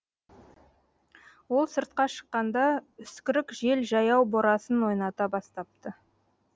ол сыртқа шыққанда үскірік жел жаяу борасын ойната бастапты